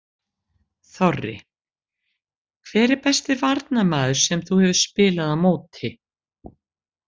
Þorri: Hver er besti varnarmaður sem þú hefur spilað á móti?